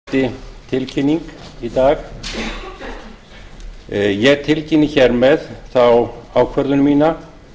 mér hefur borist svohljóðandi tilkynning í dag ég tilkynni þar með þá ákvörðun mína